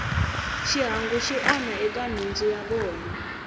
xihangu xi onha eka nhundzu ya vona